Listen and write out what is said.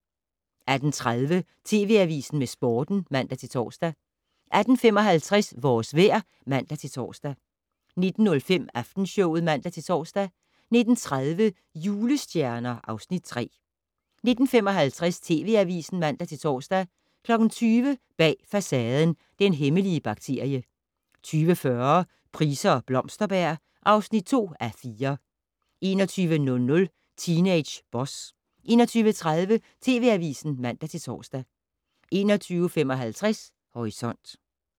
18:30: TV Avisen med Sporten (man-tor) 18:55: Vores vejr (man-tor) 19:05: Aftenshowet (man-tor) 19:30: Julestjerner (Afs. 3) 19:55: TV Avisen (man-tor) 20:00: Bag Facaden: Den hemmelige bakterie 20:40: Price og Blomsterberg (2:4) 21:00: Teenage Boss 21:30: TV Avisen (man-tor) 21:55: Horisont